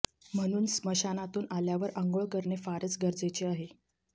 म्हणून स्मशानातून आल्यावर अंघोळ करणे फारच गरजेचे आहे